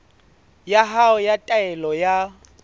ya hao ya taelo ya